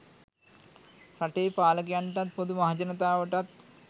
රටේ පාලකයන්ටත් පොදු මහජනතාවටත්